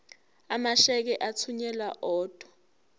amasheke athunyelwa odwa